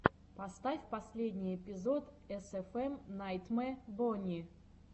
поставь последний эпизод эсэфэм найтмэ бонни